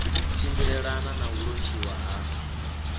tshimbilelane na u lontshiwa ha